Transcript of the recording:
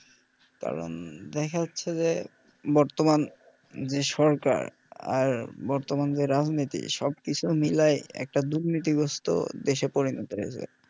কারন দেখা যাচ্ছে যে বর্তমান যে সরকার আর বর্তমান যে রাজনীতি সবকিছু মিলাই একটা দুর্নীতিগ্রস্থ দেশে পরিনত হয়েছে ।